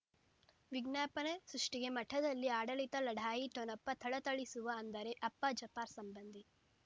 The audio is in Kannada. ವಿಜ್ಞಾಪನೆ ಸೃಷ್ಟಿಗೆ ಮಠದಲ್ಲಿ ಆಡಳಿತ ಲಢಾಯಿ ಠೊಣಪ ಥಳಥಳಿಸುವ ಅಂದರೆ ಅಪ್ಪ ಜಾಫರ್ ಸಂಬಂಧಿ